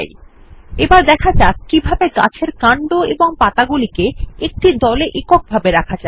চলুন শেখা যাক কিভাবে গাছের কান্ড এবং পাতাগুলিকে একটি দলে একক ভাবে রাখা যায়